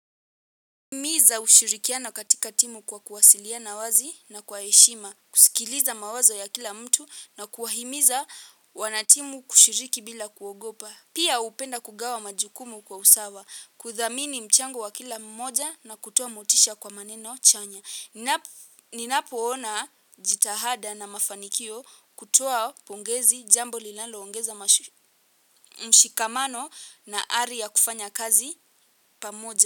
Himiza ushirikiano katika timu kwa kuwasiliana wazi na kwa heshima. Kusikiliza mawazo ya kila mtu na kuahimiza wanatimu kushiriki bila kuogopa. Pia upenda kugawa majukumu kwa usawa. Kudhamini mchango wa kila mmoja na kutoa motisha kwa maneno chanya na ninapoona jitahada na mafanikio kutoa pongezi jambo linaloongeza mashi mshikamano na ari ya kufanya kazi pamoja.